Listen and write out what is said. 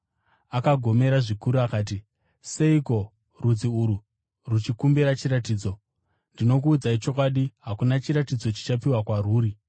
Akagomera zvikuru akati, “Seiko rudzi urwu ruchikumbira chiratidzo? Ndinokuudzai chokwadi, hakuna chiratidzo chichapiwa kwarwuri.”